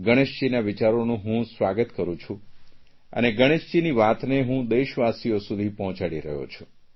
ગણેશજીના વિચારોનું હું સ્વાગત કરૂં છું અને ગણેશજીની વાતને હું દેશવાસીઓ સુધી પહોંચાડી રહ્યો છું